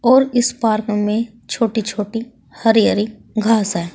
और इस पार्क में छोटी छोटी हरी हरी घास हैं।